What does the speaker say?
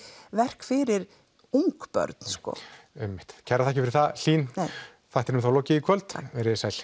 verk fyrir ung börn sko einmitt kærar þakkir Hlín þættinum er þá lokið í kvöld verið þið sæl